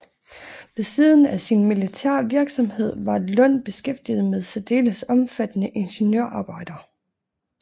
Ved siden af sin militære virksomhed var Lund beskæftiget med særdeles omfattende ingeniørarbejder